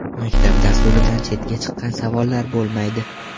Maktab dasturidan chetga chiqqan savollar bo‘lmaydi.